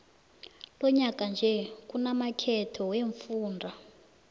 lonyaka nje kunamakhetho wemfunda